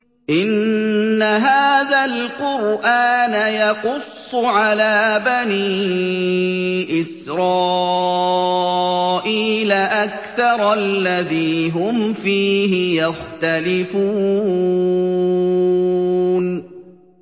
إِنَّ هَٰذَا الْقُرْآنَ يَقُصُّ عَلَىٰ بَنِي إِسْرَائِيلَ أَكْثَرَ الَّذِي هُمْ فِيهِ يَخْتَلِفُونَ